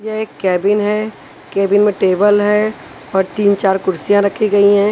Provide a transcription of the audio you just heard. यह एक केबिन है केबिन में टेबल है और तीन चार कुर्सियां रखी गई है।